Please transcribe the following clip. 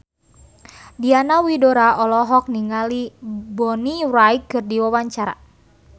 Diana Widoera olohok ningali Bonnie Wright keur diwawancara